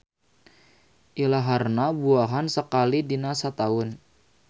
Ilaharna buahan sakali dina sataun.